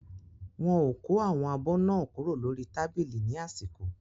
Wọ́n ò kó àwọn abọ́ náà kúrò lórí tábìlì ní àsìkò.